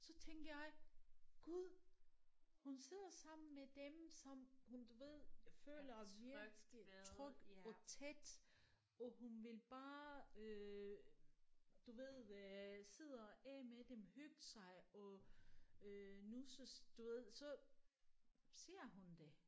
Så tænkte jeg gud hun sidder sammen med dem som hun ved føler virkelig tryg og tæt og hun vil bare øh du ved øh sidde og ae med dem hygge sig og øh nusses du ved så siger hun det